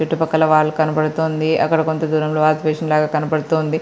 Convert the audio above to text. చుట్టుపక్కల వాల్ కనబడుతుంది. అక్కడ కొంచెం దూరంలోని వాసు బేసిన్ లాగా కనబడుతుంది.